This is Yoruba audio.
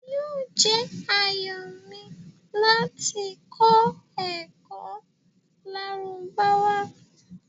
Yoo jẹ́ ayọ̀ mi lati kọ̀ ẹ́kọ Lárúbáwá